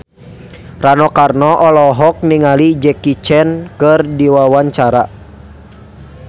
Rano Karno olohok ningali Jackie Chan keur diwawancara